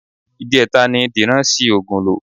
Ìjẹta ni Dìran ṣi oògùn lò